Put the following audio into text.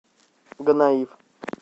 гонаив